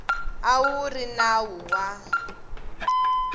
a wu ri nawu wa